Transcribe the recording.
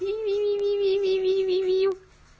аа